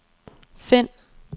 find